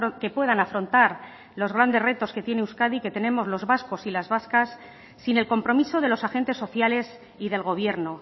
que puedan afrontar los grandes retos que tiene euskadi que tenemos los vascos y las vascas sin el compromiso de los agentes sociales y del gobierno